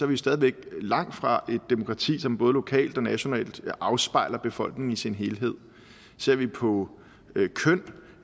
vi stadig væk langt fra et demokrati som både lokalt og nationalt afspejler befolkningen i sin helhed ser vi på